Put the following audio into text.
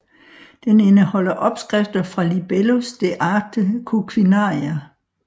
Den indeholder opskrifter fra Libellus De Arte Coquinaria